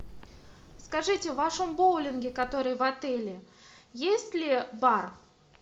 скажите в вашем боулинге который в отеле есть ли бар